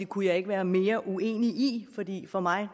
kunne jeg ikke være mere uenig i fordi det for mig